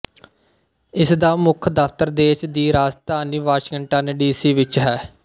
ਇਸ ਦਾ ਮੁੱਖ ਦਫਤਰ ਦੇਸ਼ ਦੀ ਰਾਜਧਾਨੀ ਵਾਸ਼ਿੰਗਟਨ ਡੀ ਸੀ ਵਿੱਚ ਹੈ